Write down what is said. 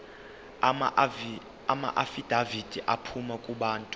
amaafidavithi aphuma kubantu